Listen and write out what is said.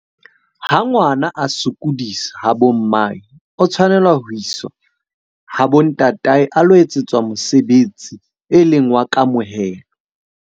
Ha ngwana a sokodisa ha bo mmae, o tshwanela ho iswa ha bo ntatae a lo etsetswa mosebetsi e leng wa kamohelo.